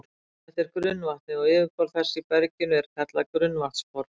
Þetta er grunnvatnið, og yfirborð þess í berginu er kallað grunnvatnsborð.